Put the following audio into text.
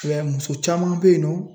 I b'a ye muso caman bɛ yen nɔ